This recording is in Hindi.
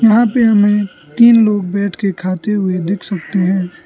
यहां पे हमें तीन लोग बैठके खाते हुए दिख सकते हैं।